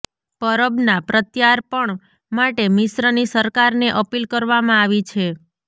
પરબના પ્રત્યાર્પણ માટે મિશ્રની સરકારને અપીલ કરવામાં આવી છે